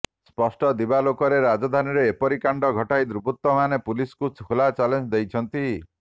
ସ୍ପଷ୍ଟ ଦିବାଲୋକରେ ରାଜଧାନୀରେ ଏପରି କାଣ୍ଡ ଘଟାଇ ଦୁର୍ବୃତ୍ତମାନେ ପୁଲିସକୁ ଖୋଲା ଚ୍ୟାଲେଞ୍ଜ ଦେଇଛନ୍ତି